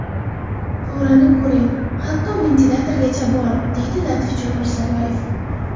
Qo‘rani ko‘ring, hatto ventilyatorgacha bor, deydi Latifjon Mirzaboyev.